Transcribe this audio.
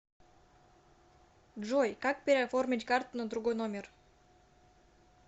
джой как переоформить карту на другой номер